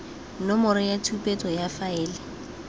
nomoro ya tshupetso ya faele